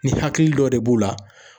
Ni hakili dɔ de b'u la.